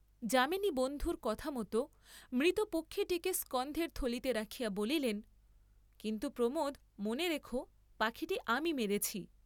যামিনী বন্ধুর কথামত মৃত পক্ষীটিকে স্কন্ধের থলিতে রাখিয়া বলিলেন, কিন্তু প্রমোদ মনে রেখো, পাখিটি আমি মেরেছি।